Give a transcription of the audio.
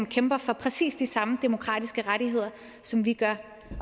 kæmper for præcis de samme demokratiske rettigheder som vi gør